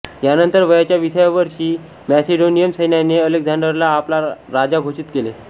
यानंतर वयाच्या विसाव्या वर्षी मॅसेडोनियन सैन्याने अलेक्झांडरला आपला राजा घोषित केले